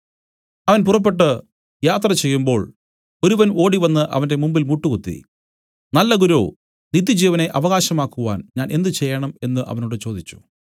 അവൻ പുറപ്പെട്ടു യാത്ര ചെയ്യുമ്പോൾ ഒരുവൻ ഓടിവന്നു അവന്റെ മുമ്പിൽ മുട്ടുകുത്തി നല്ല ഗുരോ നിത്യജീവനെ അവകാശം ആക്കുവാൻ ഞാൻ എന്ത് ചെയ്യേണം എന്നു അവനോട് ചോദിച്ചു